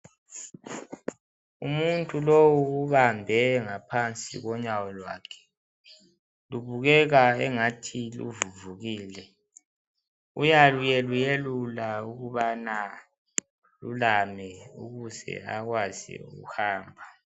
Umuntu lowu ubambe ngaphansi konyawo lwakhe, lubukeka engathi luvuvukile uyaluyeluyelula ukubana alulame ukuze akwazi ukuhamba.